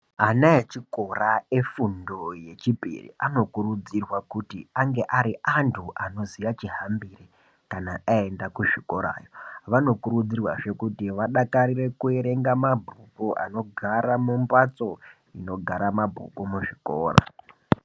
Ana echikora efundo yechipiri, anokurudzirwa kuti ange ari antu anoziya chihambire, kana aenda kuzvikora. Anokurudzirwazve kuti aidakarire kuerenga mabhuku anogara mumbatso, inogara mabhuku muzvikora.